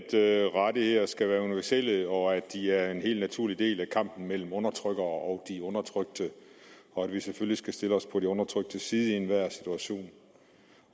i at rettigheder skal være universelle og at de er en helt naturlig del af kampen mellem undertrykkere og de undertrykte og at vi selvfølgelig skal stille os på de undertryktes side i enhver situation